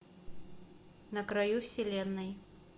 на краю вселенной